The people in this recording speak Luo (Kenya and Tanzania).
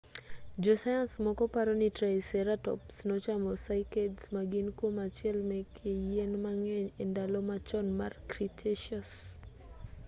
jo sayans moko paroni triceratops nochamo cycads ma gin kuom achiel meke yien ma ng'eny e ndalo machon mar cretaceous